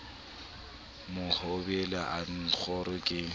mohobelo a b kgoro ke